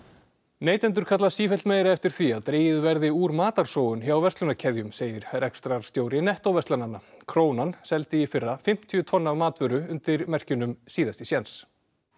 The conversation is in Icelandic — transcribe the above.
neytendur kalla sífellt meira eftir því að dregið verði úr matarsóun hjá verslunarkeðjum segir rekstrarstjóri nettó verslananna krónan seldi í fyrra fimmtíu tonn af matvöru undir merkjunum síðasti séns